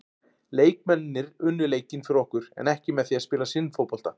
Leikmennirnir unnu leikinn fyrir okkur en ekki með því að spila sinn fótbolta.